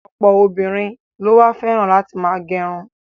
Ọ̀pọ̀ obìnrin ló wá fẹ́ràn láti ma gẹrun.